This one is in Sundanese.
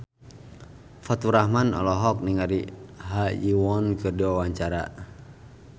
Faturrahman olohok ningali Ha Ji Won keur diwawancara